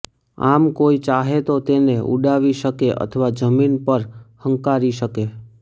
આમ કોઈ ચાહે તો તેને ઊડાવી શકે અથવા જમીન પર હંકારી શકે